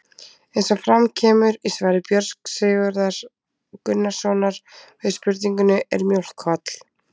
Eins og fram kemur í svari Björns Sigurðar Gunnarssonar við spurningunni Er mjólk holl?